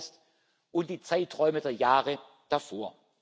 2. August und die Zeiträume der Jahre davor.